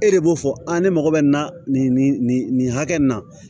E de b'o fɔ a ne mago bɛ na nin nin hakɛ nin na